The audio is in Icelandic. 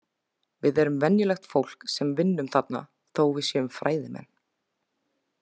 Við erum venjulegt fólk sem vinnum þarna þó að við séum fræðimenn.